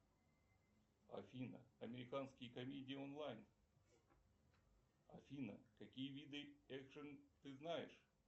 афина американские комедии онлайн афина какие виды экшн ты знаешь